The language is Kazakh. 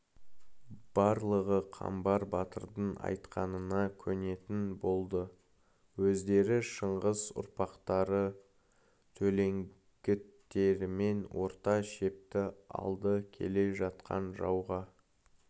барлығы қамбар батырдың айтқанына көнетін болды өздері шыңғыс ұрпақтары төлеңгіттерімен орта шепті алды келе жатқан жауға